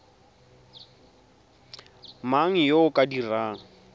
mang yo o ka dirang